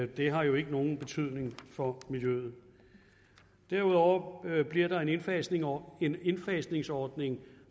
det har jo ikke nogen betydning for miljøet derudover bliver der en indfasningsordning indfasningsordning